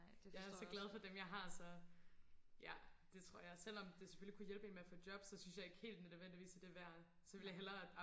jeg er så glad for dem jeg har så ja det tror jeg selvom det selvfølgelig kunne hjælpe en med at få job så synes jeg ikke helt det nødvendigvis er det værd så vil jeg hellere